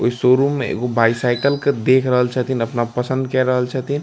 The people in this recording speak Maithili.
ओय शोरूम में एगो बायसाइकिल के देख रहल छथिन | अपना पसंद काय रहल छथिन ।